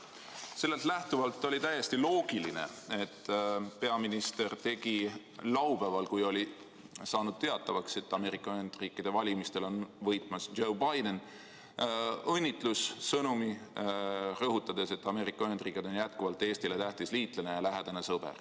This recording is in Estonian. Sellest lähtuvalt oli täiesti loogiline, et peaminister tegi laupäeval, kui oli saanud teatavaks, et Ameerika Ühendriikide valimistel on võitmas Joe Biden, õnnitlussõnumi, rõhutades, et Ameerika Ühendriigid on jätkuvalt Eestile tähtis liitlane ja lähedane sõber.